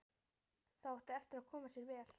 Það átti eftir að koma sér vel.